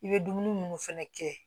I bɛ dumuni minnu fɛnɛ kɛ